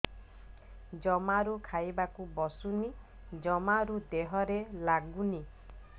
ଜମାରୁ ଖାଇବାକୁ ବସୁନି ଜମାରୁ ଦେହରେ ଲାଗୁନି